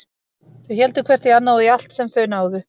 Þau héldu hvert í annað og í allt sem þau náðu.